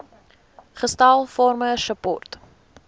gestel farmer support